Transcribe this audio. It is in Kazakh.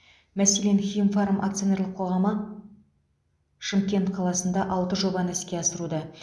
мәселен химфарм акционерлік қоғамы шымкент қаласында алты жобаны іске асыруда